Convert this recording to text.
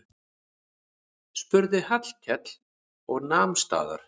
spurði Hallkell og nam staðar.